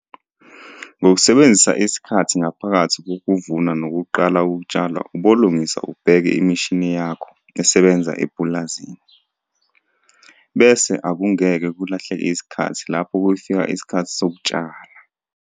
Ngokusebenzisa isikhathi ngaphakathi kokuvuna nokuqala ukutshala ubolungisa ubheke imishini yakho esebenza epulazini, bese akungeke kulahleke isikhathi lapho kufika isikhathi sokutshala.